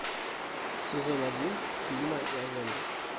сезон один фильма я зомби